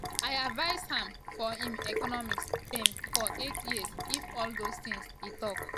"i advise am for im economic team for eight um years if all those tins e tok